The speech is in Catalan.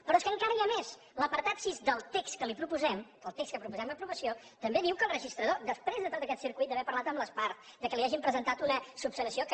però és que encara hi ha més l’apartat sis del text que li proposem del text de què proposem l’aprovació també diu que el registrador després de tot aquest circuit d’haver parlat amb les parts que li hagin presentat una esmena que